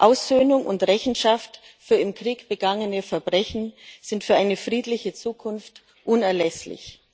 Aussöhnung und Rechenschaft für im Krieg begangene Verbrechen sind für eine friedliche Zukunft unerlässlich.